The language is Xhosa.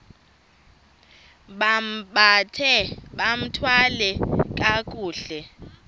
bambathe bathwale kakuhle